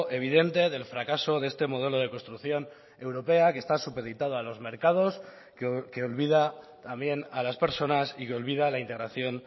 evidente del fracaso de este modelo de construcción europea que está supeditado a los mercados que olvida también a las personas y que olvida la integración